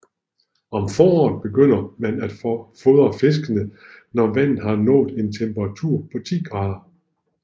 Om foråret begynder man at fordre fiskene når vandet har nået en temperatur på 10 grader